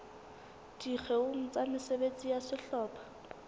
dikgeong tsa mesebetsi ya sehlopha